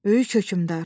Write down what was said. Böyük hökmdar.